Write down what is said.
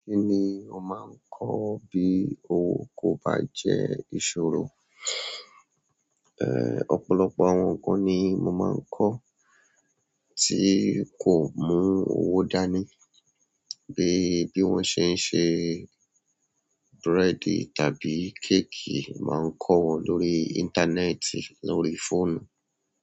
Kí ni o máa ń kọ́ bí owó kò bá jẹ́ ìṣòro? Ọ̀pọ̀lọpọ̀ àwọn nǹkan ni mo máa ń kọ́ tí kò mú owó dání. Bi, bi won se n se búrẹ́dì tàbí cake, ma ko won lórí interneti lórí phone.